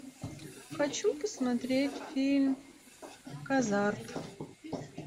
хочу посмотреть фильм казарт